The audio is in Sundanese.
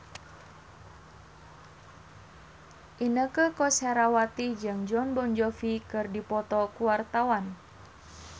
Inneke Koesherawati jeung Jon Bon Jovi keur dipoto ku wartawan